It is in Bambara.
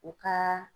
U ka